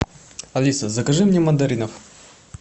алиса закажи мне мандаринов